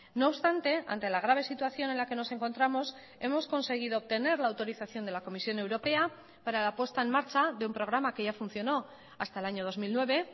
no obstante ante la grave situación en la que nos encontramos hemos conseguido obtener la autorización de la comisión europea para la puesta en marcha de un programa que ya funcionó hasta el año dos mil nueve